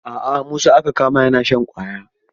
A a Musa aka kama yana shan ƙwaya.